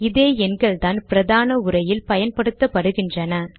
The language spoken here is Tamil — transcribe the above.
இதே எண்கள்தான் பிரதான உரையில் பயன்படுத்தப்படுகின்றன